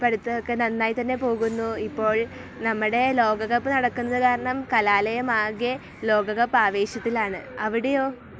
പഠിത്തമൊക്കെ നന്നായി തന്നെ പോകുന്നു ഇപ്പോൾ. നമ്മുടെ ലോകകപ്പ് നടക്കുന്ന കാരണം കലാലയമാകെ ലോകകപ്പ് ആവേശത്തിലാണ്. അവിടെയോ ?